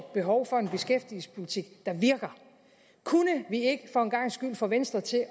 behov for en beskæftigelsespolitik der virker kunne vi ikke for en gangs skyld få venstre til